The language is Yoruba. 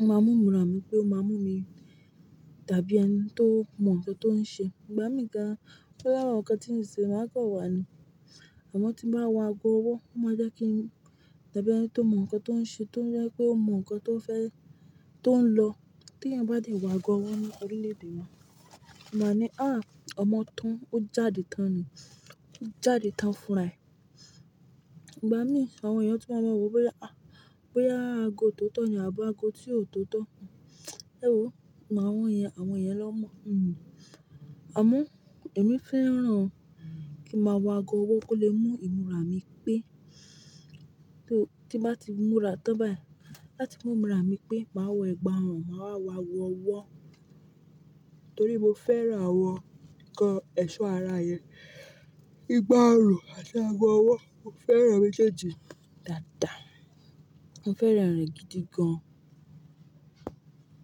o mà mi imùra mì pe ó máa mú mì dabì ẹniti tó mọ̀ nǹkan tó ń ṣe. Ìgbá mi gan, nitori awon nǹkan tí mo nṣe, máa kọ̀ wá ni. Àmọ́ tí mó bá wọ ago ọwọ́, ó máa jẹ́ kí n dàbí ẹni tó mọ̀ nǹkan tó ń ṣe tó jẹ́ pé ó mọ̀ nǹkan tó fẹ́, tó ń lọ. Tí ẹnìyan bá dẹ̀ wọ ago ọwọ́ ní orílẹ̀-èdè wa, wọ́n máa ni, "À, ọmọ tán, ó jáde tán ni, ó jáde tán fúnra rẹ̀." Ìgbá mi, àwọn ènìyàn tun mà máa mọ̀ wọ̀ bóyá, à, bóyá ago tóotọ́ ni àbí ago tí ò tóotọ́. Ẹ̀wo, àwọ̀n yẹn, àwọn yẹn lọ́ mọ̀. Mm. Àmọ́ èmi fẹ́ràn kí n máa wọ ago ọwọ́ kó lè mú imùra mi pé, tó, tí bá ti múra tán báyìí, láti mú imúra mi pé màá wọ ẹ̀gbà ọrùn, màá wa wọ̀ ọwọ́. Torí mo fẹ́ràn àwọn ǹkan ẹ̀ṣọ́ ara yen. Igbá ọrùn àti ago ọwọ́, mo fẹ́ràn rẹ̀ mèjèèjí dáadáa. Mo fẹ́ràn rẹ̀ gidi gan.